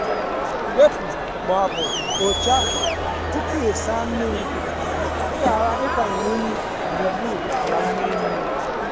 wepu ma ọ bụ kpochaa tupu ịsa mmiri ka ị ghara ịkwanye unyi gburugburu n'ala mmiri mmiri.